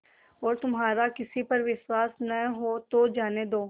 और तुम्हारा किसी पर विश्वास न हो तो जाने दो